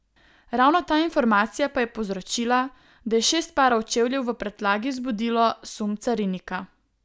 Ravno ta informacija pa je povzročila, da je šest parov čevljev v prtljagi vzbudilo sum carinika.